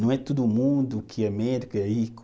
Não é todo mundo que é médico e é rico.